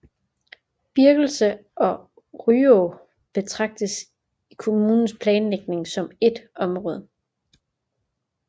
Birkelse og Ryå betragtes i kommunens planlægning som ét område